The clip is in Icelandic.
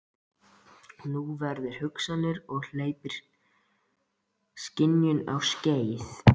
Hún vekur hugsunina og hleypir skynjuninni á skeið.